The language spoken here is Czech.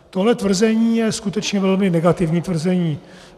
Tohle tvrzení je skutečně velmi negativní tvrzení.